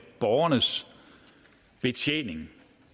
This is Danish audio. borgernes betjening